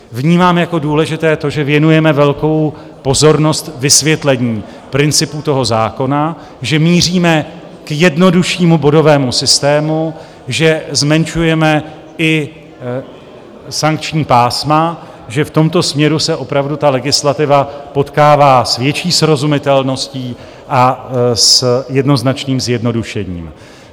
Vnímám jako důležité to, že věnujeme velkou pozornost vysvětlení principu toho zákona, že míříme k jednoduššímu bodovému systému, že zmenšujeme i sankční pásma, že v tomto směru se opravdu ta legislativa potkává s větší srozumitelností a s jednoznačným zjednodušením.